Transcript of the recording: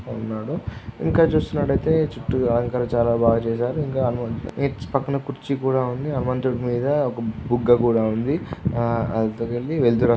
ఉన్నాడు. ఇంకా చూస్తున్నట్టయితే చుట్టూ అలంకారం బాగా చేశారు. ఇంకా పక్కన కుర్చీ కూడా ఉంది. హనుమంతుని మీద ఒక బుగ్గ కూడా ఉంది. ఆ ఆ వెళ్తురు --